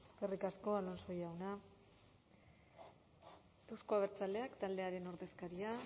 eskerrik asko alonso jauna euzko abertzaleak taldearen ordezkaria